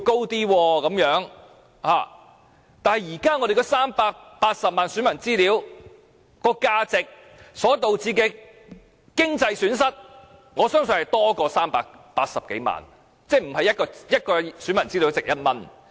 但是，現時380萬名選民個人資料的價值，以及所導致的經濟損失，我相信是多於380多萬元，即不是一位選民的資料只值1元。